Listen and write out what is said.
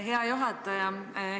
Hea juhataja!